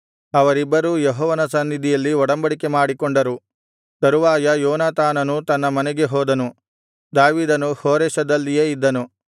ಅವರಿಬ್ಬರೂ ಯೆಹೋವನ ಸನ್ನಿಧಿಯಲ್ಲಿ ಒಡಂಬಡಿಕೆ ಮಾಡಿಕೊಂಡರು ತರುವಾಯ ಯೋನಾತಾನನು ತನ್ನ ಮನೆಗೆ ಹೋದನು ದಾವೀದನು ಹೋರೆಷದಲ್ಲಿಯೇ ಇದ್ದನು